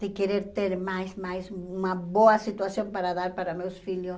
de querer ter mais, mais, uma boa situação para dar para meus filhos.